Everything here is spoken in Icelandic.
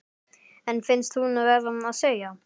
En finnst hún verða að segja: